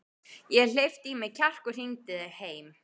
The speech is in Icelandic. Ég hleypti í mig kjarki og hringdi heim.